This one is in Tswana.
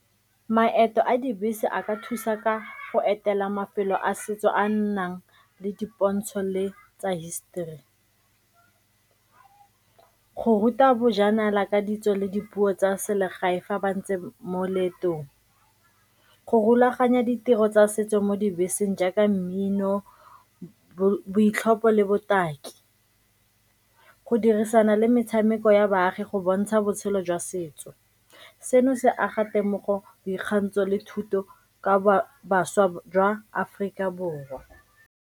Maeto a dibese a ka thusa ka go etela mafelo a setso a a nnang le dipontsho le tsa hisetori, go ruta bojanala ka ditso le dipuo tsa selegae fa ba ntse mo leetong, go rulaganya ditiro tsa setso mo dibeseng jaaka mmino, boitlhopho le botaki, go dirisana le metshameko ya baagi go bontsha botshelo jwa setso. Seno se aga temogo, boikgantsho le thuto ka bašwa jwa Aforika Borwa.